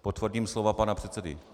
Potvrdím slova pana předsedy.